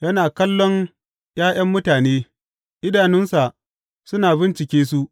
Yana kallon ’ya’yan mutane; idanunsa suna bincike su.